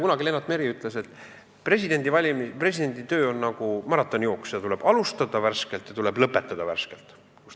Kunagi Lennart Meri ütles, et presidendi töö on nagu maratonijooks: tuleb alustada värskelt ja tuleb lõpetada värskelt.